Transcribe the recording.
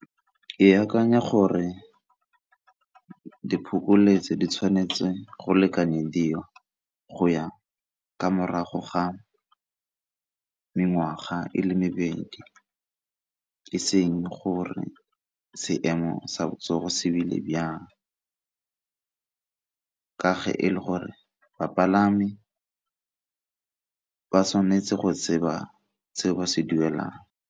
Ke akanya gore diphokoletso di tshwanetse go lekanyediwa go ya ka morago ga mengwaga e le mebedi e seng gore seemo sa botsogo se bjang ka fa e le gore bapalami ba tshwanetse go tseba seo se duelang.